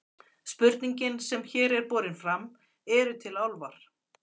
Spurningin sem hér er borin fram, Eru til álfar?